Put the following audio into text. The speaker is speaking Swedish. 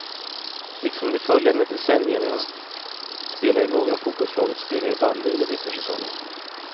Liksom de följande decennierna spelade några av fotbollslagets spelare bandy under vintersäsongen.